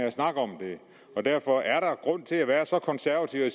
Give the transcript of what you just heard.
at snakke om det derfor er der ikke grund til at være så konservativ at